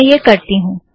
मैं यह करती हूँ